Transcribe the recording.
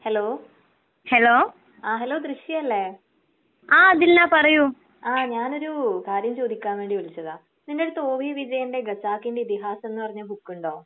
Hello Dilsha അല്ലേ ആഹ് ദിൽനാ പറയൂ ആഹ് ഞാനൊരു കാര്യം ചോദിക്കാൻ വേണ്ടി വിളിച്ചതാ. നിൻെറര്ത്ത് ഒ വി വിവേകിന്റെ ഗസാക്കിന്റെ ഇതിഹാസം എന്ന് പറഞ്ഞ ബുക്കുണ്ടോ?